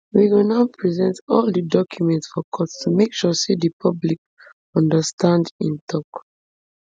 we go now present all di documents for court to make sure say di public understand im tok